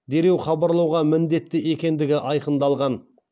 дереу хабарлауға міндетті екендігі айқындалған